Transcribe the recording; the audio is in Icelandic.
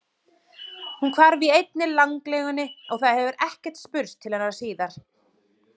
Hún hvarf í einni landlegunni og það hefur ekkert spurst til hennar síðan.